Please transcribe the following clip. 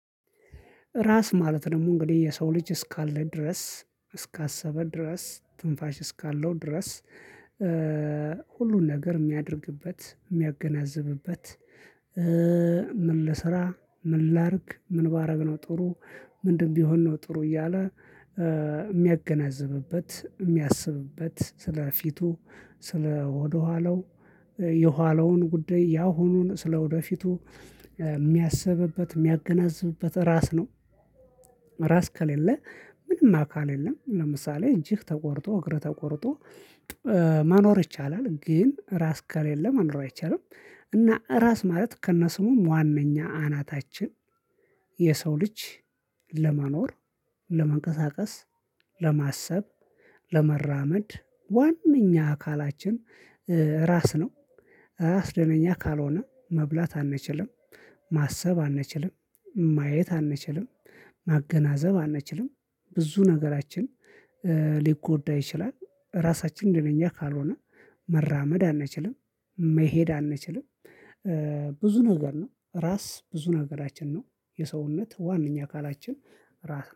ራስ ማለት ደግሞ እንግዲህ የሰው ልጅ እስካለ ድረስ እስካሰበ ድረስ ትንፋሽ እስካለው ድረስ ሁሉን ነገር የሚያደርግበት የሚያገናዝብበት። ምን ልስራ ምን ላድርግ ምን ባደረግነው ጥሩ ምንድን ቢሆን ነው? ጥሩ እያለ የሚያገነዝብበት የሚያስብበት ስለፊቱ ስለወደኋለው የኋለውን ጉዳይ ያሁኑን ስለወደፊቱ የሚያስብበት የሚያገናዝብበት ራስ ነው። ራስ ከሌለ ምንም አካል የለም። ለምሳሌ እጅግ ተቆርጦ እግር ተቆርጦ መኖር ይቻላል ግን ራስ ከሌለ መኖር አይቻልም። እና ራስ ማለት ከነ ስሙ ዋናኛ አናታችን። የሰው ልጅ ለመኖር ለመንቀሳቀስ ለማሰብ ለመራመድ ዋናኛ አካላችን ራስ ነው። ራስ ደነኛ ካልሆነ መብላት አንችልም። ማሰብ አንችልም ማየት አንችልም። ማገናዘብ አንችልም ብዙ ነገራችን ሊጎዳ ይችላል። ራሳችን ደግሞ እኛ ካልሆነ መራመድ አንችልም መሄድ አንችልም። ብዙ ነገር ነው ራስ ብዙ ነገራችን ነው የሰውነት ዋናኛ አካላችን። ራስ